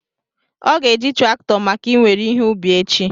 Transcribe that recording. Ọ ga-eji traktọ maka I nwere ihe ubi echi